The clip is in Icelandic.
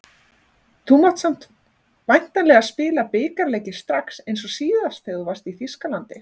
Þú mátt samt væntanlega spila bikarleiki strax eins og síðast þegar þú varst í Þýskalandi?